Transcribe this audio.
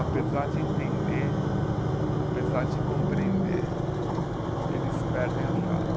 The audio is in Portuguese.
Apesar de entender, apesar de compreender, eles perdem a fala.